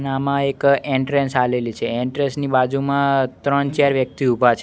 ને આમાં એક એન્ટ્રેન્સ આલેલી છે એન્ટ્રેસ ની બાજુમાં ત્રણ ચાર વ્યક્તિ ઊભા છ--